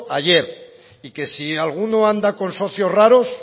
ayer y que si alguno anda con socios raros